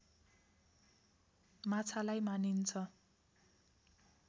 माछालाई मानिन्छ